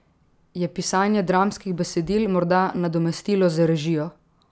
Je pisanje dramskih besedil morda nadomestilo za režijo?